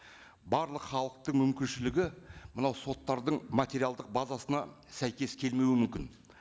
барлық халықтың мүмкіншілігі мынау соттардың материалдық базасына сәйкес келмеуі мүмкін